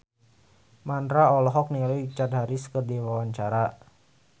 Mandra olohok ningali Richard Harris keur diwawancara